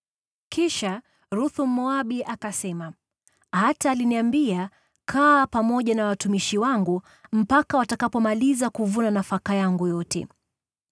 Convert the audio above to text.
Kisha Ruthu, Mmoabu, akasema, “Hata aliniambia, ‘Kaa pamoja na watumishi wangu mpaka watakapomaliza kuvuna nafaka yangu yote.’ ”